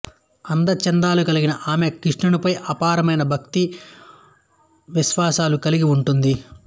అంద చందాలు కలిగిన ఆమె కృష్ణునిపై అపారమైన భక్తి విశ్వాసాలు కలిగి ఉంటుంది